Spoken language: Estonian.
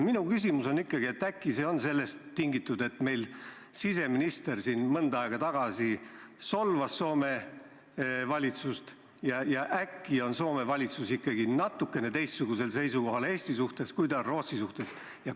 Minu küsimus on ikkagi, et äkki see on sellest tingitud, et meil siseminister mõnda aega tagasi solvas Soome valitsust, ja võib-olla on Soome valitsus ikkagi natukene teistsugusel seisukohal Eesti suhtes, kui ta on Rootsi suhtes.